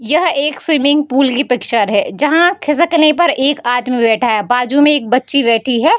यह एक swimming pool की पिक्चर है जहां खिसकने पर एक आदमी बैठा है बाजू में एक बच्ची बैठी है।